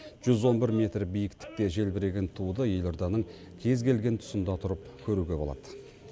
жүз он бір метр биіктікте желбіреген туды елорданың кез келген тұсында тұрып көруге болады